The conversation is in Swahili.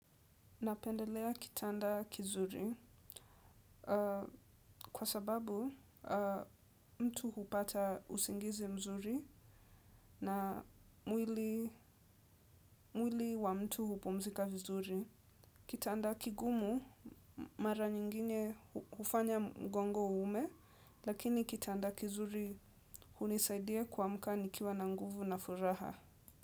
Napendelea kitanda kizuri kwa sababu mtu hupata usingizi mzuri na mwili mwili wa mtu hupumzika vizuri. Kitanda kigumu mara nyingine hufanya mgongo uume lakini kitanda kizuri hunisaidia kuamka nikiwa na nguvu na furaha.